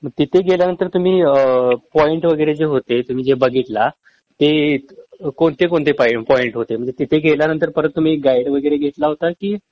मग तिथे गेल्यानंतर तुम्ही पॉईंट वगैरे जे होते तुम्ही जे बघितला ते कोणते कोणते पॉईंट होते म्हंजे तिथे गेल्यांनंतर परत तुम्ही गाईड वगैरे घेतला होता कि